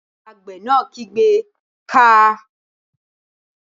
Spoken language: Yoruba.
Àgbẹ̀ náà kígbe "káa!"